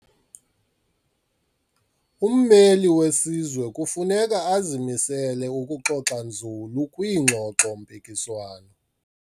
Ummeli wesizwe kufuneka azimisele ukuxoxa nzulu kwiingxoxo-mpikiswano.